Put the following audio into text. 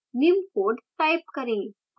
निम्न code type करें